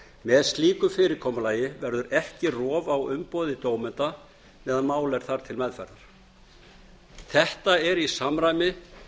með slíku fyrirkomulagi verður ekki rof á umboði dómenda meðan mál er þar til meðferðar þetta er í samræmi